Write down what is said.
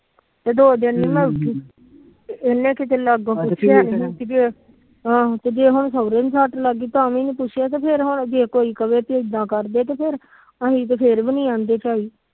ਦੋ ਦਿਨ ਨੀ ਮੈ ਉਠੀ ਇਹਨੇ ਕਿਤੇ ਆਹੋ ਜੇ ਹੁਣ ਸੁਹਰੇ ਨੂੰ ਸੱਟ ਲੱਗ ਗੀ ਤਾਵੀ ਨੀ ਪੁਛਿਆ ਜੇ ਕੋਈ ਕਵੇ ਕ ਇਦਾ ਕਰਦੇ।